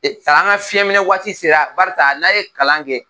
Ee sann'an ka fiyɛminɛ waati sera barisa n'a ye kalan kɛ